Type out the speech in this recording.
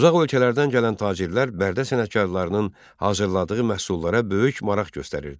Uzaq ölkələrdən gələn tacirlər Bərdə sənətkarlarının hazırladığı məhsullara böyük maraq göstərirdilər.